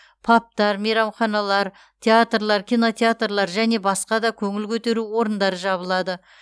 пабтар мейрамханалар театрлар кинотеатрлар және басқа да көңіл көтеру орындары жабылады